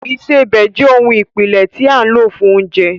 Ìsebẹ̀ jẹ́ ohun ìpìlẹ̀ tí a lò fún oúnjẹ